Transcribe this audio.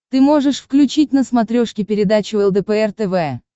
ты можешь включить на смотрешке передачу лдпр тв